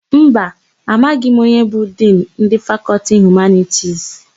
Mba, amaghị m onye bụ Dinu ndị Fakọltị Humanitisi.